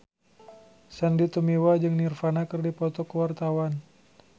Sandy Tumiwa jeung Nirvana keur dipoto ku wartawan